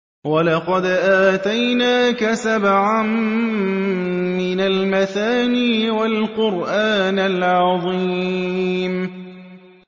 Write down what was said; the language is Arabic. وَلَقَدْ آتَيْنَاكَ سَبْعًا مِّنَ الْمَثَانِي وَالْقُرْآنَ الْعَظِيمَ